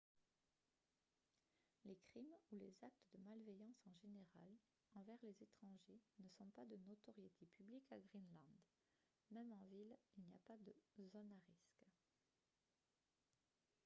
"les crimes ou les actes de malveillance en général envers les étrangers ne sont pas de notoriété publique à greenland. même en ville il n'y a pas de "zones à risque""